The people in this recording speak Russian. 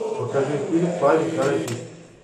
покажи фильм парень каратист